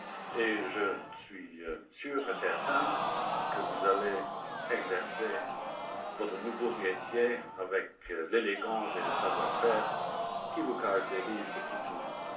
et je suis sûr et certain que vous exercerez votre nouveau métier avec l'élégance et le savoir faire qui vous caractérisent depuis toujours.